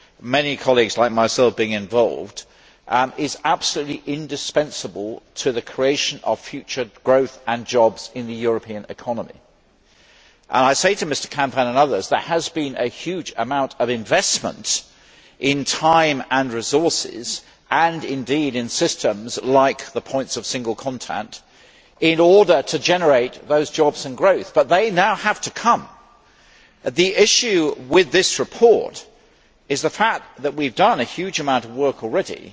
many colleagues, including myself, being involved is absolutely indispensable to the creation of future growth and jobs in the European economy. I say to Mr Canfin and others that there has been a huge amount of investment in time and resources, and indeed in systems like the points of single contact, in order to generate those jobs and growth, but they now have to come. The issue with this report is the fact that we have done a huge amount of work already,